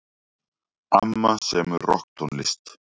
Amma semur rokktónlist.